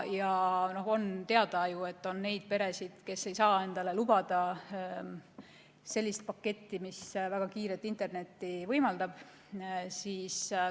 On ju teada, et on neid peresid, kes ei saa endale lubada sellist paketti, mis väga kiiret internetti võimaldaks.